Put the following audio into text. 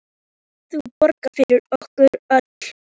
Nú skalt þú borga fyrir okkur öll.